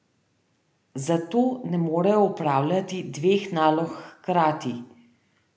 Zato ne morejo opravljati dveh nalog hkrati.